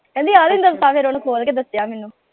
ਕਹਿੰਦੀ ਆਹ ਵੇਖ ਦੱਸਾਂ ਫੇਰ ਓਹਨੂੰ ਖੋਲ ਕੇ ਦੱਸਿਆ ਮੈਨੂੰ।